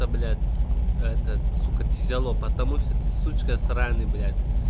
да блять этот сука тяжело потому что ты сучка сраный блять